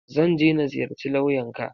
Zan je na ziyarci lawyan ka.